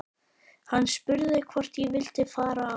Hann spurði hvort ég vildi fara á